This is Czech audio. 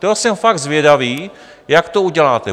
To jsem fakt zvědavý, jak to uděláte.